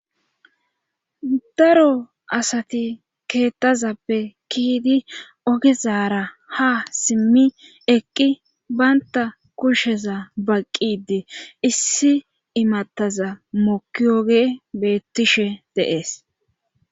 Daro asati keettazappe kiidi ogezaara ha simmi eqqi baynta kushsheza baqqidi issi imattaza mokiyoge beettishe deees